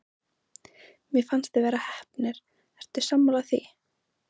Mér fannst þið vera heppnir, ertu sammála því?